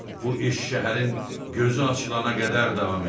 Bu iş şəhərin gözü açılana qədər davam edirdi.